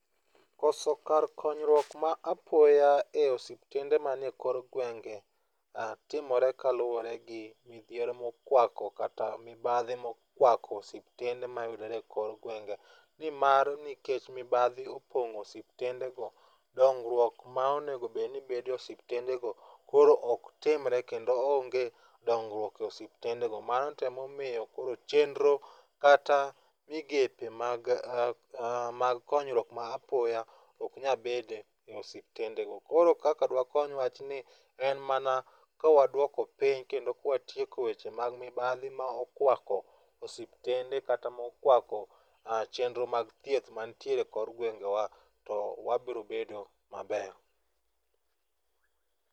Koso kar konyruok ma apoya e osiptende man e kor gwenge timore kaluwore gi midhiero mokwako kata mibadhi mokwako osiptende mayudore e kor gwenge nimar nikech mibadhi opong'o osiptende go dongruok monego bed e osiptende go koro ok timre kendo onge dongruok e osipitende go. Mano temo miyo chenro kata migepe mag konyruok ma apoya ok nya bede osiptende. Koro kaka dwa kony wachni en mana kwaduoko piny kendo kwatieko weche mag mibadhi ma okwako osiptende kata mokwako chenro mag thieth mantiere kor gwengewa to wabro bedo mabeyo.